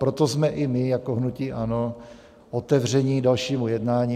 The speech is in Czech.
Proto jsme i my jako hnutí ANO otevření dalšímu jednání.